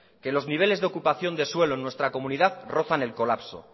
los niveles de ocupación de suelo en nuestra comunidad rozan el colapso